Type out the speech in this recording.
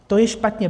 To je špatně.